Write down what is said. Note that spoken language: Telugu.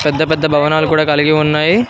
పెద్ద పెద్ద భవనాలు కూడా కలిగి ఉన్నాయి.